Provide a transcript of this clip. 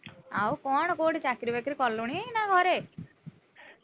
ଆଉ କଣ କୋଉଠି ଚାକିରି ବାକିରି କଲୁଣି ନା ଘରେ?